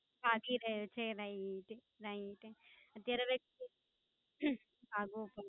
ભાગી રહ્યો છે, Right Right અત્યારવે ભાગવું